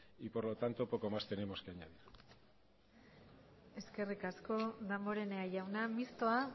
y por lo tanto poco más tenemos que añadir eskerrik asko damborenea jauna mistoa